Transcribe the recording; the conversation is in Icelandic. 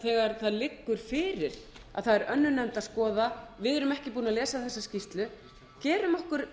þegar það liggur fyrir að það er önnur nefnd að skoða við erum ekki búin að lesa þessa skýrslu gerum okkur